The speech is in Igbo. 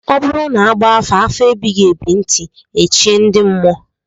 Ọ bụrụ na a gbafa afa ebighị ebi ntị echie ndị mmụọ.